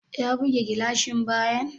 Ya buge gilashin bayan?